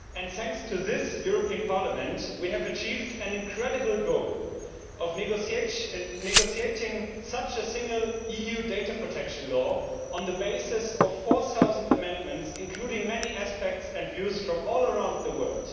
Thanks to this European Parliament, we have achieved the incredible goal of negotiating a single EU data protection law on the basis of 4000 amendments, including many aspects and views from all around the world.